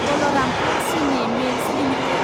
Balrampur Chini Mills limited